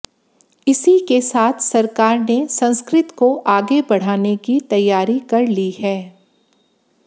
इसी के साथ सरकार ने संस्कृत को आगे बढ़ाने की तैयारी कर ली है